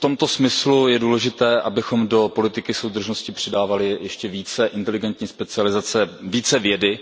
V tomto smyslu je důležité, abychom do politiky soudržnosti přidávali ještě více inteligentní specializace, více vědy,